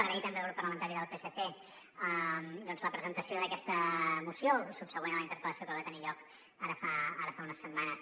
agrair també al grup parlamentari del psc la presentació d’aquesta moció subsegüent a la interpellació que va tenir lloc ara fa unes setmanes